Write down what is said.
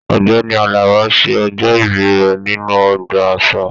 Ọgbẹni Àlàbá ṣe ọjọ-ibi rẹ nínú ọgbà àṣà.